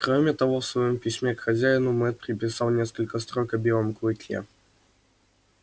кроме того в своём письме к хозяину мэтт приписал несколько строк о белом клыке